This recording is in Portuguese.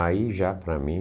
Aí já para mim,